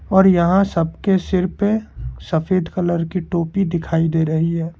और यहां सबके सिर पे सफेद कलर की टोपी दिखाई दे रही है।